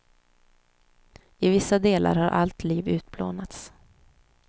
I vissa delar har allt liv utplånats.